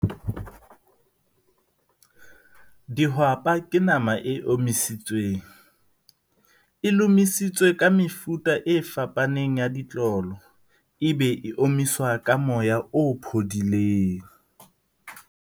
Dihwapa ke nama e omisitsweng e lomisitswe ka mefuta e fapaneng ya ditlolo. E be e omiswa ka moya o phodileng.